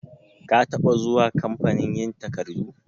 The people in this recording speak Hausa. Ka taba zuwa kamfanin yin takardu?